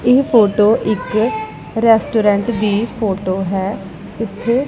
ਏਹ ਫੋਟੋ ਇੱਕ ਰੈਸਟੂਰੈਂਟ ਦੀ ਫੋਟੋ ਹੈ ਇੱਥੇ--